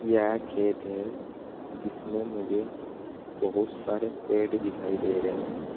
यह खेत है जिसमें मुझे बहुत सारे पेड़ दिखाई दे रहे हैं।